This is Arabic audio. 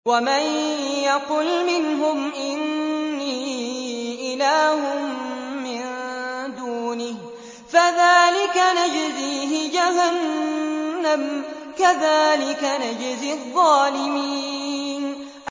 ۞ وَمَن يَقُلْ مِنْهُمْ إِنِّي إِلَٰهٌ مِّن دُونِهِ فَذَٰلِكَ نَجْزِيهِ جَهَنَّمَ ۚ كَذَٰلِكَ نَجْزِي الظَّالِمِينَ